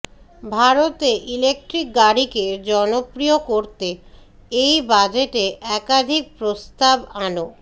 ভারতে ইলেকট্রিক গাড়িকে জনপ্রিয় করতে এই বাজেটে একাধিক প্রস্তাব আন